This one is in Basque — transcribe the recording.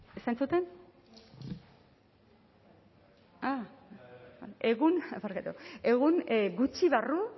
ah egun barkatu egun gutxi barru